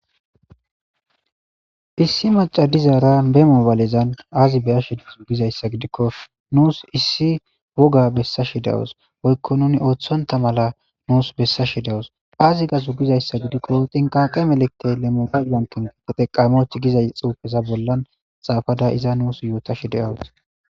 Issi macadizara bemoobaalezan aazi beyashid sugizayssa gidikko nuus issi woga bessashidawos woykko nuni ooththonta mala nuus bessa shidawus aazi ga sugizayssa gidikko xinqaqe meleqte lemobaal wankin de teqamoch gizay xuufeza bollan xaafada iza nuus yoota shi de7awus.